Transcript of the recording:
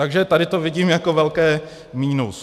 Takže tady to vidím jako velké minus.